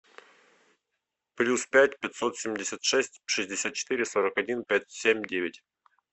плюс пять пятьсот семьдесят шесть шестьдесят четыре сорок один пять семь девять